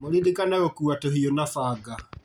Mũririkane gũkua tũhiũ na banga